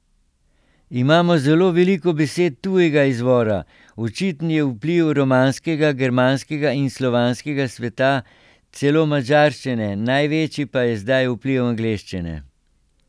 Imamo zelo veliko besed tujega izvora, očiten je vpliv romanskega, germanskega in slovanskega sveta, celo madžarščine, največji pa je zdaj vpliv angleščine.